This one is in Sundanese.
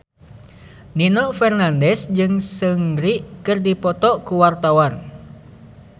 Nino Fernandez jeung Seungri keur dipoto ku wartawan